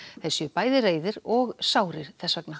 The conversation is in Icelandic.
þeir séu bæði reiðir og sárir þess vegna